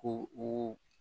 Ko u